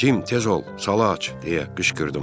Cim tez ol, sala aç deyə qışqırdım.